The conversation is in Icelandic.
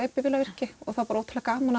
er bifvélavirki og það er bara ótrúlega gaman